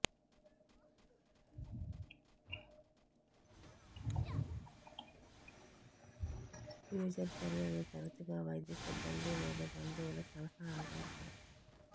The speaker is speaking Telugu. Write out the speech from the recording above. ఫ్యూచర్ తల్లులు తరచుగా వైద్య సిబ్బంది లేదా బంధువులు సలహా ఆధారపడతారు